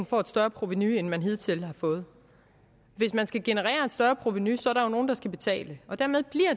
få et større provenu end man hidtil har fået hvis man skal generere et større provenu så er der jo nogen der skal betale og dermed